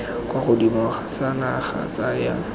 kwa godimo sa naga tsaya